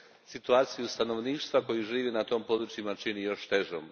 situaciju stanovništva koje živi na tom području čini još težom.